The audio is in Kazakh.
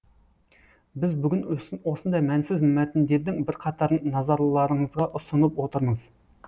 біз бүгін осындай мәнсіз мәтіндердің бірқатарын назарларыңызға ұсынып отырмыз